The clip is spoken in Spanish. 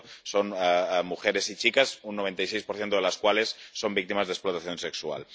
son mujeres y chicas, un 96 de las cuales son víctimas de explotación sexual.